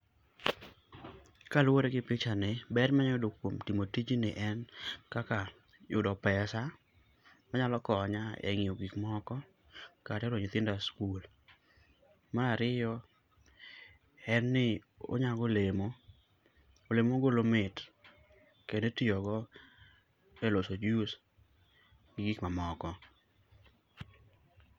Kaluwore gi picha b ni, ber manyalo yudo kuom timo tijni en kaka yudo pesa manyalo konya e nyiewo gik moko kata tero nyithinda sikul. Mar ariyo, en ni onyago olemo, olemo mogolo mit kendo itiyogo eloso juice.